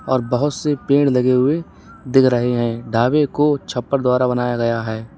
और बहुत से पेड़ लगे हुए दिख रहे हैं ढाबे को छप्पर द्वारा बनाया गया है।